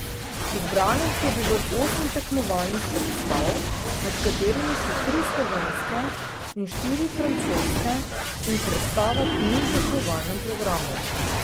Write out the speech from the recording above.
Izbranih je bilo osem tekmovalnih predstav, med katerimi so tri slovenske in štiri francoske, in predstava, ki ni v tekmovalnem programu.